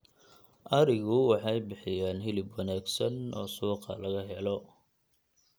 Adhigu waxay bixiyaan hilib wanaagsan oo suuqa laga helo.